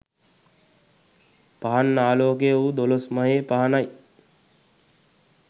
පහන් ආලෝකය වූ දොළොස්මහේ පහනයි.